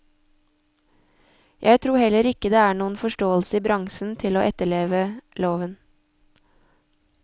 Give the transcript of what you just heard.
Jeg tror heller ikke det er noen forståelse i bransjen til å etterleve loven.